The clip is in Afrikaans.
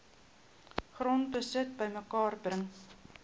grondbesit bymekaar bring